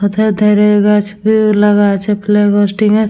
পথের ধারে গাছ ব্রিচ লাগা আছে ক্লাব হোস্টিং -এর।